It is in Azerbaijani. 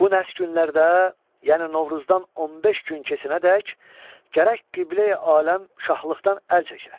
Bu nəhs günlərdə, yəni Novruzdan 15 gün keçənədək gərək Qibləyi aləm şahlıqdan əl çəkə.